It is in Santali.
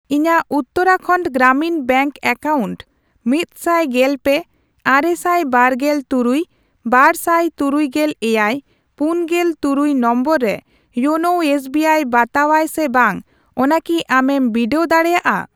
ᱤᱧᱟᱜ ᱩᱛᱛᱟᱨᱟᱠᱷᱟᱱᱰ ᱜᱨᱟᱢᱤᱱ ᱵᱮᱝᱠ ᱮᱠᱟᱣᱩᱱᱴ ᱢᱤᱫᱥᱟᱭ ᱜᱮᱞᱯᱮ, ᱟᱨᱮᱥᱟᱭ ᱵᱟᱨᱜᱮᱞ ᱛᱩᱨᱩᱭ, ᱵᱟᱨᱥᱟᱭ ᱛᱩᱨᱩᱭᱜᱮᱞ ᱮᱭᱟᱭ, ᱯᱩᱱᱜᱮᱞ ᱛᱩᱨᱩᱭ ᱱᱚᱢᱵᱚᱨ ᱨᱮ ᱭᱳᱱᱳ ᱮᱥᱵᱤᱟᱭ ᱵᱟᱛᱟᱣᱟᱭ ᱥᱮ ᱵᱟᱝ ᱚᱱᱟ ᱠᱤ ᱟᱢᱮᱢ ᱵᱤᱰᱟᱹᱣ ᱫᱟᱲᱮᱭᱟᱜᱼᱟ ?